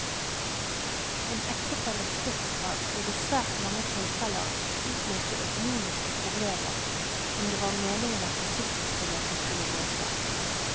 En ektefelles dødsfall vil i svært mange tilfeller utløse økonomiske problemer, som det var meningen at forsikringsbeløpet skulle løse.